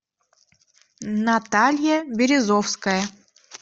наталья березовская